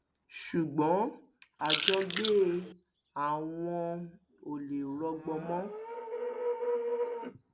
ṣùgbọn àjọgbé àwọn ò lè rọgbọ mọ